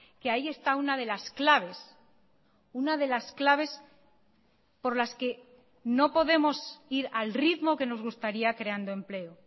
que ahí está una de las claves una de las claves por las que no podemos ir al ritmo que nos gustaría creando empleo